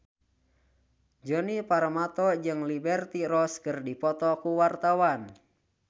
Djoni Permato jeung Liberty Ross keur dipoto ku wartawan